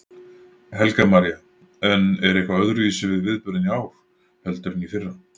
Helga María: En er eitthvað öðruvísi við viðburðinn í ár heldur en í fyrra?